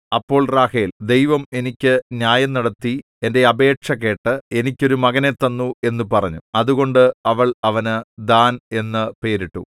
അപ്പോൾ റാഹേൽ ദൈവം എനിക്ക് ന്യായം നടത്തി എന്റെ അപേക്ഷ കേട്ട് എനിക്ക് ഒരു മകനെ തന്നു എന്നു പറഞ്ഞു അതുകൊണ്ട് അവൾ അവന് ദാൻ എന്നു പേരിട്ടു